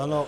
Ano.